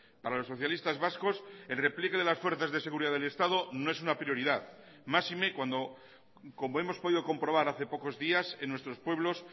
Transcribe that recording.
para los socialistas vascos el repliegue de las fuerzas de seguridad del estado no es una prioridad máxime cuando como hemos podido comprobar hace pocos días en nuestros pueblos